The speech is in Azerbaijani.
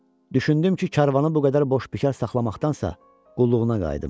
Düşündüm ki, karvanı bu qədər boş bikar saxlamaqdansa, qulluğuna qayıdım.